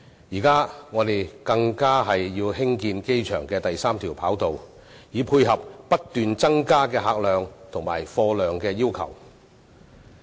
現在我們更要興建機場第三條跑道，以配合不斷增加的客貨量要求。